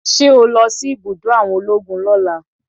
Ṣé o lo si ibùdó àwọn ológun lóla?